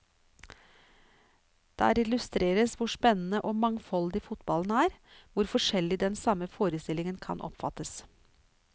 Der illustreres hvor spennende og mangfoldig fotballen er, hvor forskjellig den samme forestillingen kan oppfattes.